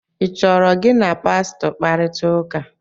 ị chọrọ gị na Pastọ kparịta ụka?